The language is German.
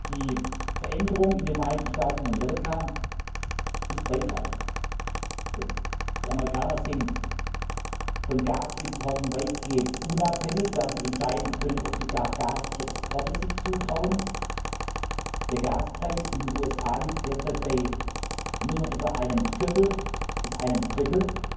Die Veränderung in den Vereinigten Staaten von Amerika ist weitreichend Die Amerikaner sind von Gasimporten weitgehend unabhängig, werden entscheiden können, ob sie sich gar Gasexporte zutrauen. Der Gaspreis in den USA liegt derzeit bei nur etwa einem Viertel bis einem Drittel